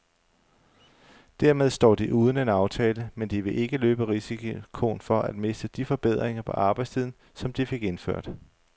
Dermed står de uden en aftale, men de vil ikke løbe risikoen for at miste de forbedringer på arbejdstiden, som de fik indført.